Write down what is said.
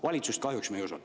Valitsust me kahjuks ei usalda.